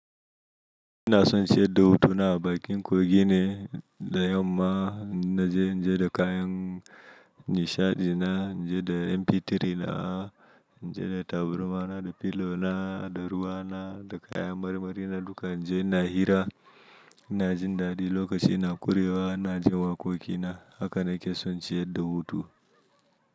Ina son siyar da hutuna a bakin kogin ne da yamma, na je na je da kayan nishaɗi na, na je da MP3 na, na je da taburma na, da pillow na, da ruwa na, da kaya marmari na duka. Na je ina hira, na jin dadi lokacin na kurewa, na jin waƙoƙi na haka na ke son ciyar da hutu.